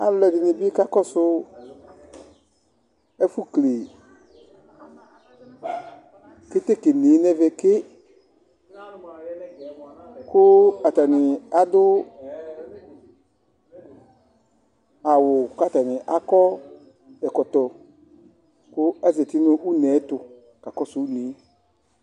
alɔɖini bi kakɔsu ɛfu kele ketekemie nɛvɛke ku atani adu awu ku atani akɔ ɛkɔtɔ ku azati nu unɛtu kakɔsu une